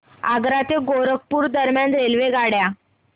आग्रा ते गोरखपुर दरम्यान रेल्वेगाड्या